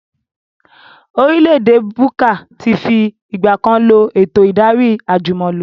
Orílẹ̀ èdè Kúbà tí fi ìgbàkan lọ eto ìdarí àjùmọ̀lo